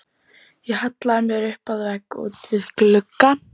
Ég hallaði mér upp að vegg út við glugga.